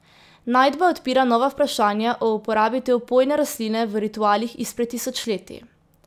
Najdba odpira nova vprašanja o uporabi te opojne rastline v ritualih izpred tisočletij.